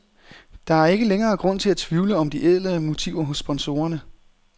Der er ikke længere grund til at tvivle om de ædle motiver hos sponsorerne.